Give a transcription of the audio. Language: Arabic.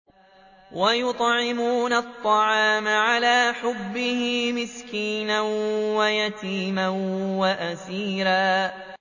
وَيُطْعِمُونَ الطَّعَامَ عَلَىٰ حُبِّهِ مِسْكِينًا وَيَتِيمًا وَأَسِيرًا